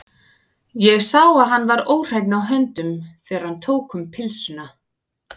Ég sá að hann var óhreinn á höndunum, þegar hann tók um pylsuna.